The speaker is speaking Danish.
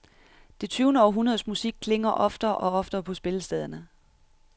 Det tyvende århundredes musik klinger oftere og oftere på spillestederne.